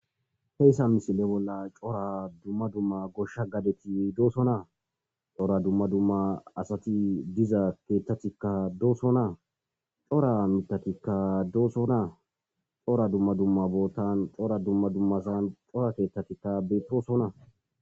heyssa misile bolla cora dumma dumma goshsha gadeti dooso naa cora dumma dumma asati diza keettatikka dooso naa cora mitatikka dooso naa cora dumma dumma boottan cora dumma dummasan cora keettatikka beettoosona